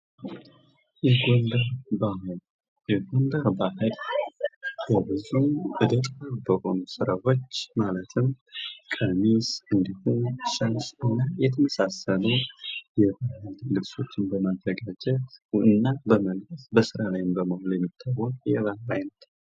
ጥበብና ባህል የቱሪዝም መስህቦች በመሆን የኢኮኖሚ እድገትን የሚያበረታቱ ሲሆን የባህል ልውውጥን ያመጣሉ።